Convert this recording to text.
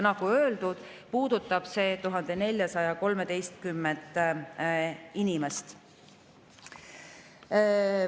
Nagu öeldud, puudutab see 1413 inimest.